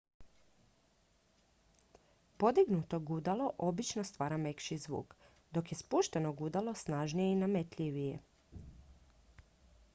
podignuto gudalo obično stvara mekši zvuk dok je spušteno gudalo snažnije i nametljivije